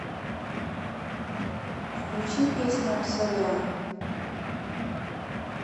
включи песня аксалем